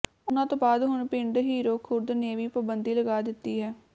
ਉਨ੍ਹਾਂ ਤੋਂ ਬਾਅਦ ਹੁਣ ਪਿੰਡ ਹੀਰੋ ਖੁਰਦ ਨੇ ਵੀ ਪਾਬੰਦੀ ਲਗਾ ਦਿੱਤੀ ਹੈ